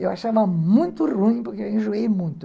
Eu achava muito ruim, porque eu enjoei muito.